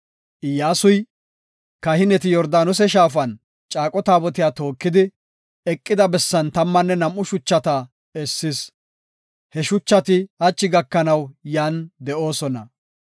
Iyyasuy, Kahineti Yordaanose shaafan caaqo taabotiya tookidi, eqida bessan tammanne nam7u shuchata essis. He shuchati hachi gakanaw yan de7oosona.